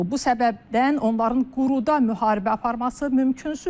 Bu səbəbdən onların quruda müharibə aparması mümkünsüzdür.